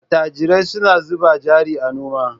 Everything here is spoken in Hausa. Attajirai suna zuba jari a noma.